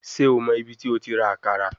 Ṣe o mọ ibiti o ti ra akara?